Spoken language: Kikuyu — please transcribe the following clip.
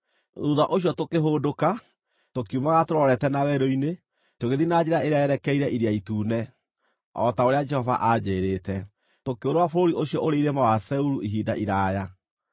Thuutha ũcio tũkĩhũndũka, tũkiumagara tũrorete na werũ-inĩ, tũgĩthiĩ na njĩra ĩrĩa yerekeire Iria Itune, o ta ũrĩa Jehova anjĩĩrĩte. Tũkĩũrũũra bũrũri ũcio ũrĩ irĩma wa Seiru ihinda iraaya.